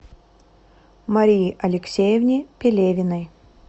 марии алексеевне пелевиной